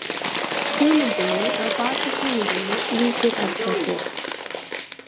Hugmyndinni að baki sýningunni lýsir Erla svo.